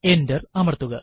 enter അമർത്തുക